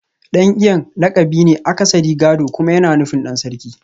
Dan Iyan lakabi ne akasarin gado kuma yana nufin Dan Sarki